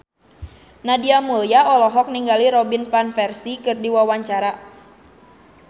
Nadia Mulya olohok ningali Robin Van Persie keur diwawancara